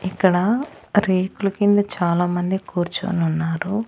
ఇక్కడ రేకులు కింద చాలా మంది కూర్చొనున్నారు.